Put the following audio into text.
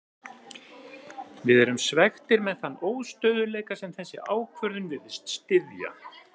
Við erum svekktir með þann óstöðugleika sem þessi ákvörðun virðist styðja.